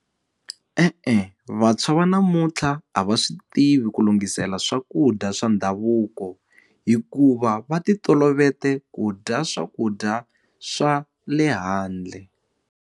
E-e, vantshwa va namuntlha a va swi tivi ku lunghisela swakudya swa ndhavuko hikuva va ti toloveta ku dya swakudya swa le handle.